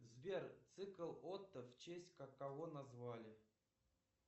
сбер цикл отто в честь кого назвали